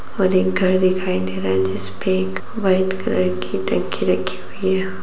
और एक घर दिखाई दे रहा है जिस पे एक वाइट कलर की टंकी रखी हुई है।